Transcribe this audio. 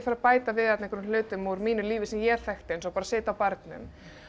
að bæta við hlutum úr mínu lífi sem ég þekkti eins og að sitja á barnum